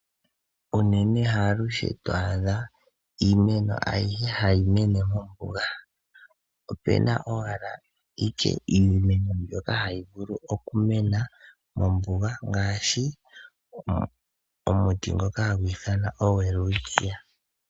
Unene haalushe to adha iimeno ayihe hayi mene mombuga opuna owala ike iimeno mbyoka hayi vulu okumena mombuga ngaashi omuti ngoka hagu ithanwa oWelwitchia.